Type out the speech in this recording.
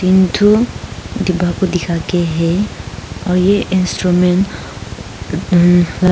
डिब्बा को दिखा के है और ये इंस्ट्रूमेंट